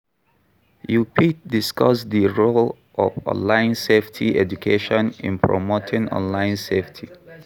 You fit discuss di role of online safety education in promoting online safety.